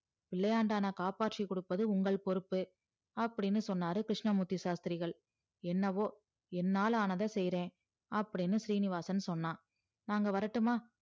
பிள்ளையாண்டன்னா காப்பாற்றி கொடுப்பது உங்கள் பொறுப்பு அப்டின்னு சொன்னாறு கிருஸ்னமூர்த்தி சாஸ்த்திரிகள் என்னவோ என்னால ஆனத செயிற அப்டின்னு சீனிவாசன் சொன்னான் நாங்க வரட்டுமா